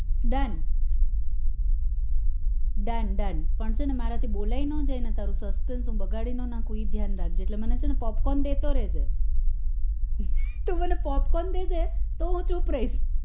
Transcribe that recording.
done done done પણ છે ને મારા થી બોલાય ન જાય ને તારું suspense હું બગાડી ના નાખું એ ધ્યાન રાખજે એટલે મને છે ને popcorn દેતો રેજે તું મને popcorn દઈદે તો હું ચુપ રઈસ